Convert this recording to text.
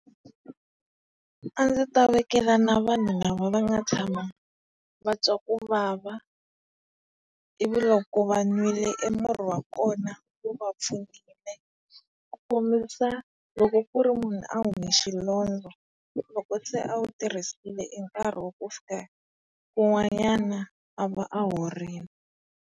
A ndzi ta vekela na vanhu lava va nga tshama va twa ku vava ivi loko va nwile e murhi wa kona wu va pfunile. Ku khombisa, loko ku ri munhu a hume xilondza loko se a wu tirhisile e nkarhi wa ku fika wu a va a horile.